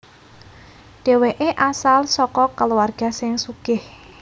Dhèwèké asal saka kulawarga sing sugih